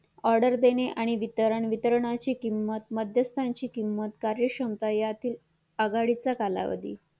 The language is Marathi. order देणे आणि वितर वितरणाची किंमत मध्यस्थानाची किंमत कार्य क्षमता यातील आघाडीचा कालावधी